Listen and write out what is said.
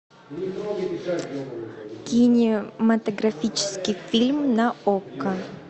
кинематографический фильм на окко